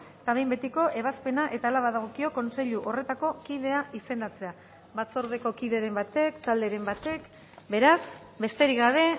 eta behin betiko ebazpena eta hala badagokio kontseilu horretako kidea izendatzea batzordeko kideren batek talderen batek beraz besterik gabe